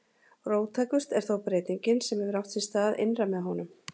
Róttækust er þó breytingin sem hefur átt sér stað innra með honum